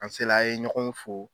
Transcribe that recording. An se la a ye ɲɔgɔn fo.